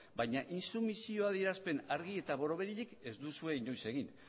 baina intsumisio adierazpen argi eta borobilik ez duzue inoiz egin